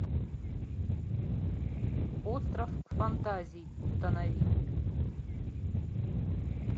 остров фантазий установи